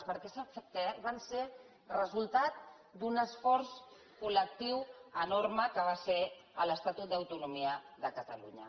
perquè sap què van ser resultat d’un esforç col·lectiu enorme que va ser l’estatut d’autonomia de catalunya